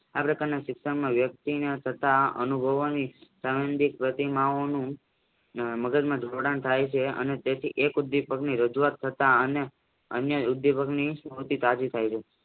આ પ્રકારના શિક્ષણ વ્યક્તિન તથા પ્રતિમાઓનું મગજમાં જોડાણ થાય છે અને તેથી એક ઉદ્વિપકની રજુવાત કરતા અને અન્ય ઉદ્વિપકની તાજી થઈ છે.